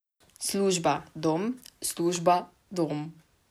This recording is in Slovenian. Služba, dom, služba, dom.